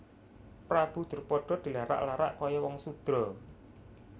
Prabu Drupada dilarak larak kaya wong sudra